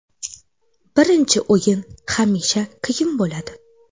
Birinchi o‘yin hamisha qiyin bo‘ladi.